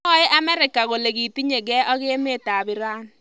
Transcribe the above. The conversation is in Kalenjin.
Mwoe Amerika kole kitinyegei ak emet ap Iran.